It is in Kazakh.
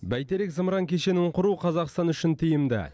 бәйтерек зымыран кешенін құру қазақстан үшін тиімді